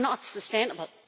It is not sustainable.